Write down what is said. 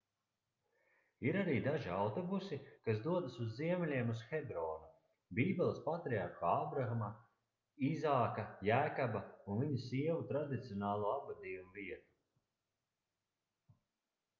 ir arī daži autobusi kas dodas uz ziemeļiem uz hebronu - bībeles patriarhu ābrama īzāka jēkaba ​​un viņu sievu tradicionālo apbedījumu vietu